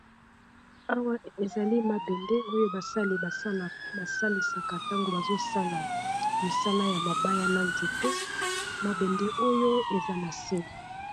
Awa ezali mabende oyo basali basalisaka ntango bazosala mosala ya mabaya na nzete mabende oyo eza na se.